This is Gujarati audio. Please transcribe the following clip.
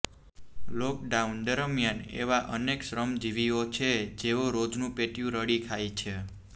લોકડાઉન દરમ્યાન એવા અનેક શ્રમજીવીઓ છે જેઓ રોજનું પેટીયું રળી ખાય છે